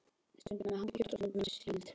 Stundum með hangikjöti og stundum með síld.